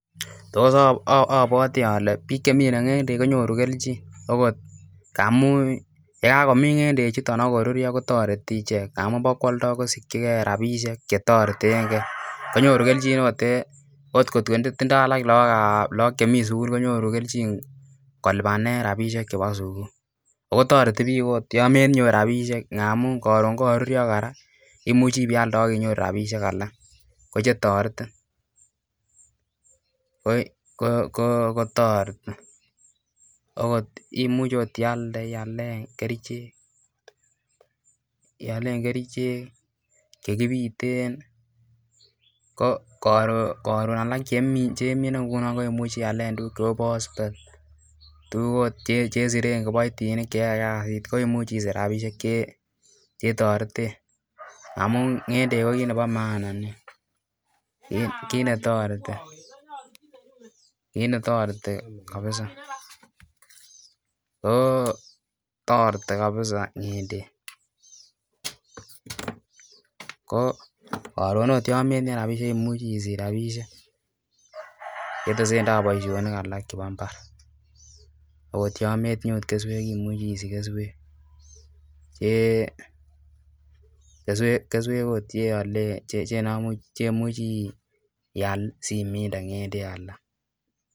Tos abwati Kole bik chenyoru ngendek Koba keljin okot ngamun yekakomin ngendek chuton akorurio kotareti icheken ngamun ba kwoldo akosikigei rabishek chetareten gei konyoru keljin okot en kotkotindoi alak logok Chemiten sugul konyoru keljin kolubanen rabishek choton chebo sugul akotareti bik okot yamatinye rabishek ngamun Karon yangarurio koraa imuche iyalde akinyorchigei rabishek alak kochetiretin ? Koimuch iyalen kerchek chekibiten koron konalak chekimine ngunon koyache iminen AK kechengi chebo kibaitinik komuch isich rabinik chetareten amun ngendek ko kit Nebo maanaako kit netareti kabisa? Ko Karon yametinye rabishek koimuche isich rabishek chetesetai baishoni koraa akot yametinye keswek imuche isich keswek okot cheyolen akumuch imin alak